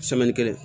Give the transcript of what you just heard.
kelen